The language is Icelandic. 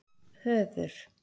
Höður